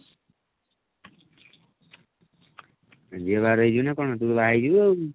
ଝିଅ ବାହାଘର ହେଇଯିବନି ଆଉ କଣ ତୁ ତ ବାହା ହେଇଯିବୁ ଆଉ